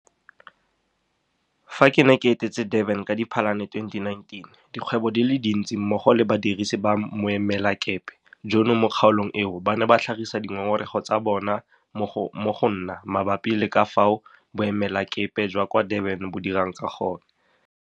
Fa ke ne ke etetse Durban ka Diphalane 2019, dikgwebo di le dintsi mmogo le badirisi ba boemelakepe jono mo kgaolong eo ba ne ba tlhagisa dingongorego tsa bona mo go nna mabapi le ka fao Boemelakepe jwa kwa Durban bo dirang ka gone.